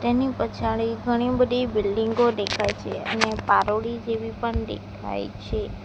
એની પછાડી ઘણી બધી બિલ્ડિંગો દેખાય છે અને પારોડી જેવી પણ દેખાય છે.